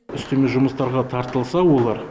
үстеме жұмыстарға тартылса олар